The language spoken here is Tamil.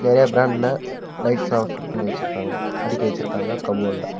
நறிய பிராண்ட்ல லைட்ஸ்லா பிட் பண்ணி வச்சிருக்காங்க அடுக்கி வச்சிருக்காங்க கபோர்டுல .